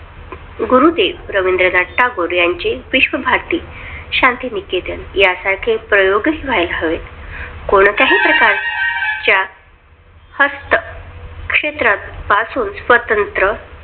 गुरुदेव रवींद्रनाथ टागोर यांची विश्वभारती शांतिनिकेतन या साठी प्रयोग व्हायला हवे. कोणत्याही प्रकारच्या हस्त क्षेत्रात पासून स्वतंत्र